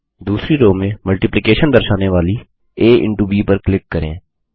दूसरी रो में मल्टिप्लिकेशन दर्शाने वाली आ इंटो ब पर क्लिक करें